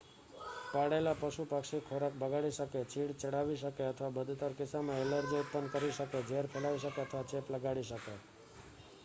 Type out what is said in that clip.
પાળેલાં પશુ-પક્ષી ખોરાક બગાડી શકે ચીડ ચડાવી શકે અથવા બદતર કિસ્સામાં ઍલર્જી ઉત્પન્ન કરી શકે ઝેર ફેલાવી શકે અથવા ચેપ લગાડી શકે